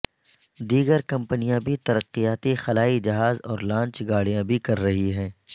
دیگر کمپنیاں بھی ترقیاتی خلائی جہاز اور لانچ گاڑیاں بھی کر رہی ہیں